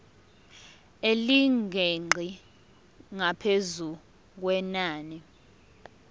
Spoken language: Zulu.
elingeqi ngaphezu kwenani